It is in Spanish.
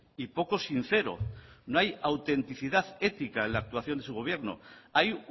y poco sincero no hay autenticidad ética en la actuación de su gobierno hay